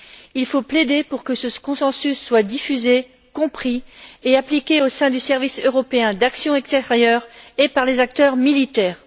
Il faut plaider pour que ce consensus soit diffusé, compris et appliqué au sein du service européen d'action extérieure et par les acteurs militaires.